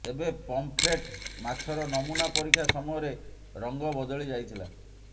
ତେବେ ପମ୍ପଫ୍ରେଟ୍ ମାଛର ନମୁନା ପରୀକ୍ଷା ସମୟରେ ରଂଗ ବଦଳି ଯାଇଥିଲା